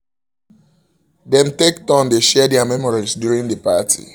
dem take turn dey share der memories during the party